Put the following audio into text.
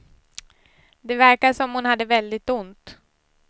Det verkade som om hon hade väldigt ont.